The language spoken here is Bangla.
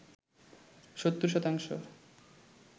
৭০ শতাংশ